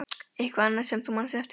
Eitthvað annað sem þú manst eftir?